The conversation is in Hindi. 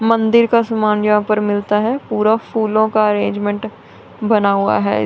मंदिर का सामान यहां पर मिलता है पूरा फूलों का अरेंजमेंट बना हुआ है।